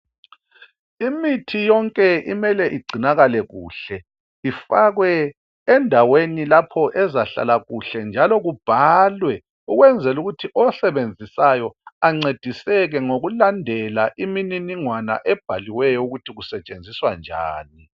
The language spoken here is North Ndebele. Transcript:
Imithi yonke imele igcinakale kuhle. Ifakwe endaweni lapho ezahlala kuhle njalo kubhalwe ukwenzela ukuthi osebenzisayo ancediseke ngokulandela iminingingwana ebhaliweyo ukuthi kusetshenziswa njani.